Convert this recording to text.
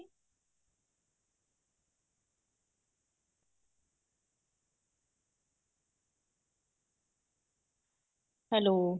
hello